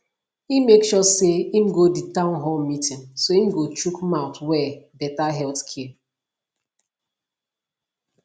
e make sure say im go for di town hall meeting so im go shook mouth well better healthcare